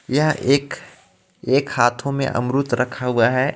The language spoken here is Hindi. यह एक एक हाथों में अमृद् रखा हुआ है.